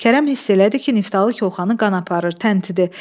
Kərəm hiss elədi ki, Niftalı koxanı qan aparır, təntidir.